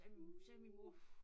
Jamen sagde min mor